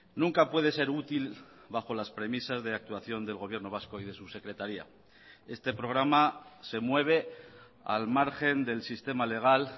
nunca puede ser útil bajo las premisas de actuación del gobierno vasco y de su secretaría este programa se mueve al margen del sistema legal